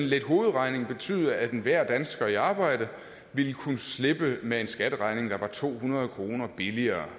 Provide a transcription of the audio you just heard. lidt hovedregning betyde at enhver dansker i arbejde ville kunne slippe med en skatteregning der var to hundrede kroner billigere